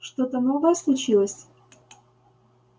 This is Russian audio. что-то новое случилось